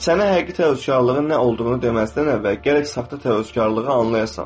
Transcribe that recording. Sənə həqiqi təvəkküllüğün nə olduğunu deməzdən əvvəl gərək saxta təvəkküllığı anlayasan.